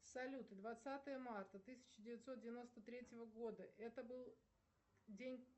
салют двадцатое марта тысяча девятьсот девяносто третьего года это был день